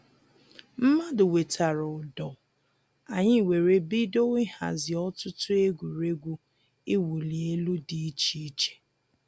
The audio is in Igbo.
Mmadụ wetara ụdọ, anyị were bido ịhazi ọtụtụ egwuregwu iwuli elu dị iche iche